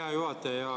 Hea juhataja!